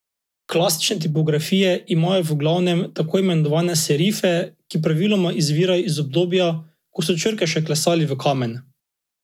Klasične tipografije imajo v glavnem tako imenovane serife, ki praviloma izvirajo iz obdobja, ko so črke še klesali v kamen.